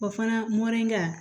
O fana mɔlenya